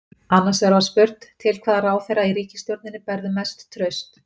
Annars vegar var spurt: Til hvaða ráðherra í ríkisstjórninni berðu mest traust?